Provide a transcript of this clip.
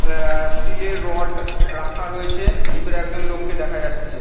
আ -আ স্টিল -এর রড রাখা রয়েছে। ভিতরে একজন লোককে দেখা যাচ্ছে।